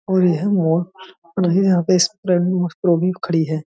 और ये है मॉल और ये यहाँ पे खड़ी है।